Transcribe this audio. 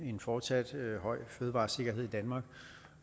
fortsat høj fødevaresikkerhed i danmark